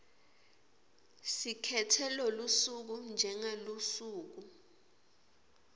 sikhetse lolusuku njengelusuku